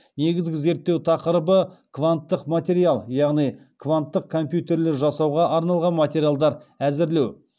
негізгі зерттеу тақырыбы кванттық материал яғни кванттық компьютерлер жасауға арналған материалдар әзірлеу